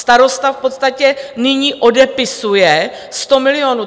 Starosta v podstatě nyní odepisuje 100 milionů.